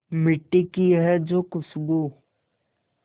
मिट्टी की है जो खुशबू